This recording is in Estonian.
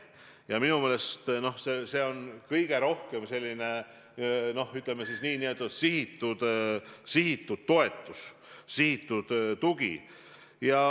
Ja minu meelest see on kõige rohkem selline, ütleme, sihitud toetus, sihitud tugi.